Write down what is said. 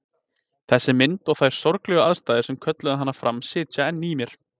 Þessi mynd og þær sorglegu aðstæður sem kölluðu hana fram sitja enn í mér.